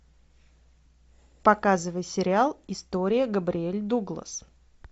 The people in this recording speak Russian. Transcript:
показывай сериал история габриэль дуглас